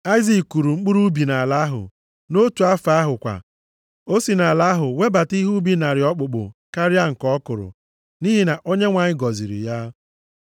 Aịzik kụrụ mkpụrụ ubi nʼala ahụ. Nʼotu afọ ahụ kwa, o si nʼala ahụ webata ihe ubi narị okpukpu karịa nke ọ kụrụ, nʼihi na Onyenwe anyị gọziri ya.